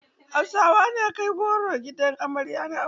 Hausawa na kai goro gidan amarya na aure.